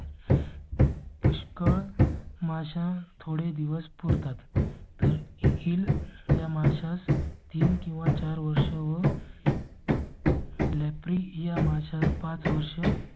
पुष्कर माझा थोडे दिवस पुरतात तर हिल या माशास तीन किंवा चार वर्षे व . लेप्री या माशात पाच वर्ष.